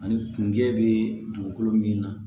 Ani kungɛ bɛ dugukolo min na